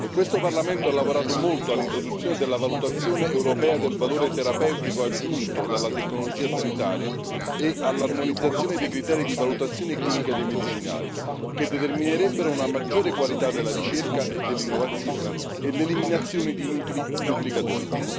Questo Parlamento ha lavorato molto all'introduzione della valutazione europea del valore terapeutico aggiunto dalla tecnologia sanitaria e all'armonizzazione dei criteri di valutazione clinica dei medicinali, che determinerebbero una maggiore qualità della ricerca e dell'innovazione e l'eliminazione di inutili duplicazioni.